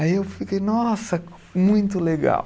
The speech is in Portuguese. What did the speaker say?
Aí eu fiquei, nossa, muito legal.